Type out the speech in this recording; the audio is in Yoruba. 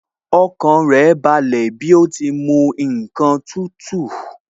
Ọkàn rẹ̀ balẹ̀ bí ó ti mu ǹkan tútù